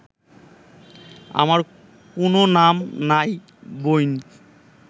আমার কুনো নাম নাই বইন